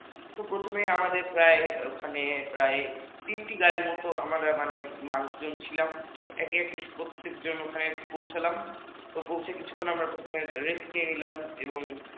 তো প্রথমে আমাদের প্রায় ওখানে প্রায় তিনটে গাড়ির মতো আমরা মানুষজন ছিলাম তো একে একে প্রত্যেকজন ওখানে পৌছালাম পৌঁছে কিছুক্ষণ rest নিলাম এবং